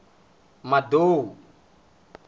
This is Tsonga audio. madou